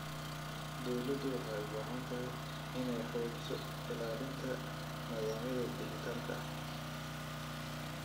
Dawladdu waxay u baahan tahay inay xoojiso ilaalinta nidaamyada dhijitaalka ah.